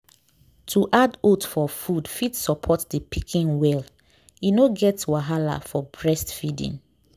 to add oats for food fit support the pikin well. e no get wahala for breastfeeding.